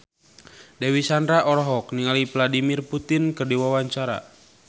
Dewi Sandra olohok ningali Vladimir Putin keur diwawancara